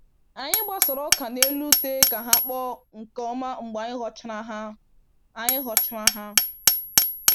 Anyị gbasara ọka n'elu ute ka ha kpọọ nke ọma mgbe anyị ghọchara ha. anyị ghọchara ha.